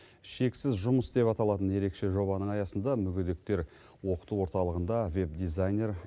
шексіз жұмыс деп аталатын ерекше жобаның аясында мүгедектер оқыту орталығында веб дизайнер